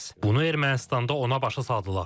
Bunu Ermənistanda ona başa saldılar.